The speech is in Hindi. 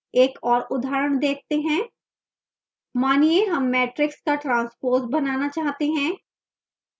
एक और उदाहरण देखते हैं